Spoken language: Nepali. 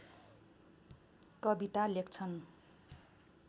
कविता लेख्छन्